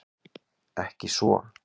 Ekki svo